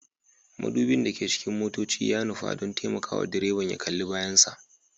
Mudubin da ke cikin motoci ya nufa don taimakawa direban ya kalli bayansa